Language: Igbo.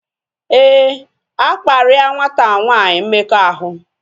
Éè, akparia nwata nwanyi mmekọahụ